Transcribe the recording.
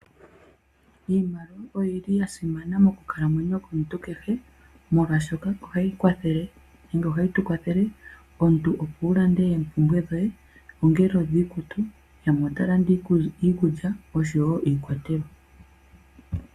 Iimaliwa oyili yasimana mokukalamwenyo yomuntu kehe molwashoka ohayi kwathele nenge ohayi tukwathele, omuntu opo wulande oompumbwe dhoye ongele omiikutu, yamwe otaya landa iikulya osho wo iikwatelwa.